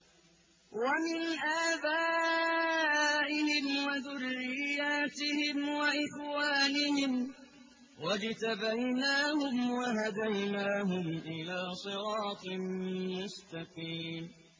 وَمِنْ آبَائِهِمْ وَذُرِّيَّاتِهِمْ وَإِخْوَانِهِمْ ۖ وَاجْتَبَيْنَاهُمْ وَهَدَيْنَاهُمْ إِلَىٰ صِرَاطٍ مُّسْتَقِيمٍ